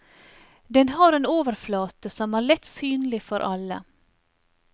Den har en overflate som er lett synlig for alle.